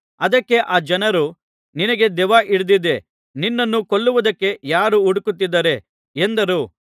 ಅದಕ್ಕೆ ಆ ಜನರು ನಿನಗೆ ದೆವ್ವ ಹಿಡಿದಿದೆ ನಿನ್ನನ್ನು ಕೊಲ್ಲುವುದಕ್ಕೆ ಯಾರು ಹುಡುಕುತ್ತಿದ್ದಾರೆ ಎಂದರು